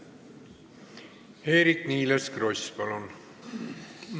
Eerik-Niiles Kross, palun!